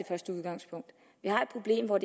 første udgangspunkt vi har et problem hvor